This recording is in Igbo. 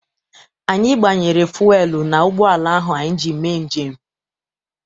Anyi gbanyere fuelu n'ụgbọala ahụ anyị ji eme njem.